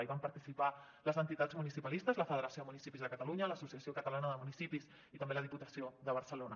hi van participar les entitats municipalistes la federació de municipis de catalunya l’associació catalana de municipis i també la diputació de barcelona